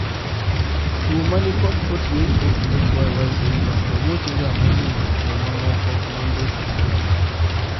Chuo manikod 48,XXYY syndrome robochega mohingo chuo mamoko mambesegi.